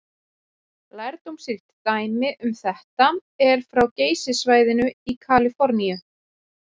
Lærdómsríkt dæmi um þetta er frá Geysissvæðinu í Kaliforníu.